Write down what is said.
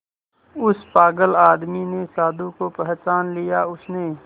उस पागल आदमी ने साधु को पहचान लिया उसने